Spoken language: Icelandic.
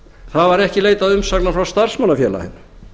það var ekki leitað umsagna frá starfsmannafélagi